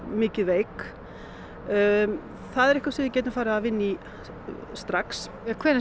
mikið veik það er það sem við getum farið að vinna í strax hvenær